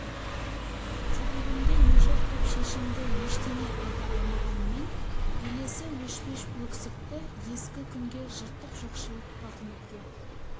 қапелімде не жоқ деп шешімді ештеңе айта алмағанмен елесі өшпес өксікті ескі күнге жыртық жоқшылық тауқыметке